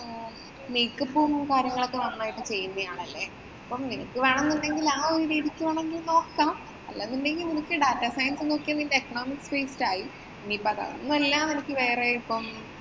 make up ഉം, കാര്യങ്ങളും ഒക്കെ നന്നായിട്ട് ചെയ്യുന്നയാളല്ലേ. നിനക്ക് വേണമെന്നുണ്ടെങ്കില്‍ ആ ഒരു രീതിക്ക് വേണമെങ്കി നോക്കാം. data science നോക്കിയാ നിന്‍റെ ecnomics based ആയി. ഇനിയിപ്പം അതൊന്നും അല്ല നിനക്ക് വേറെ ഇപ്പം